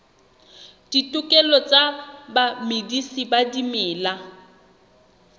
ditokelo tsa bamedisi ba dimela